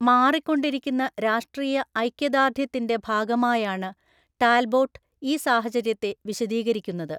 മാറിക്കൊണ്ടിരിക്കുന്ന രാഷ്ട്രീയ ഐക്യദാർഢ്യത്തിന്‍റെ ഭാഗമായാണ് ടാൽബോട്ട് ഈ സാഹചര്യത്തെ വിശദീകരിക്കുന്നത്.